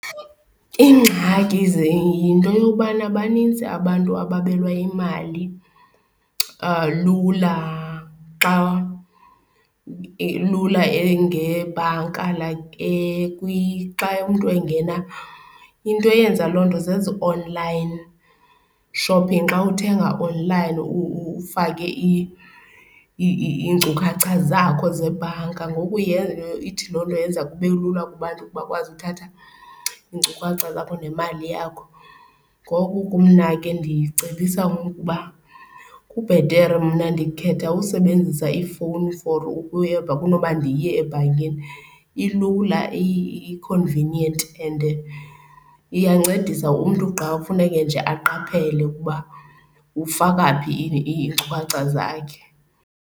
Iingxaki yinto yobana banintsi abantu ababelwa imali lula xa lula ngebhanka like xa umntu engena. Into eyenza loo nto zezi online shopping, xa uthenga online ufake iinkcukacha zakho zebhanka ngoku ithi loo nto yenza kube lula kubantu bakwazi uthatha iinkcukacha zakho nemali yakho. Ngoku ke mna ke ndicebisa ukuba kubhetere, mna ndikhetha usebenzisa ifowuni for kunoba ndiye ebhankini, ilula, i-convenient and iyancedisa umntu xa kufuneke nje aqaphele ukuba ufaka phi iinkcukacha zakhe.